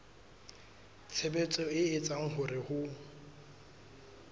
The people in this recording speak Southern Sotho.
tshebetso e etsang hore ho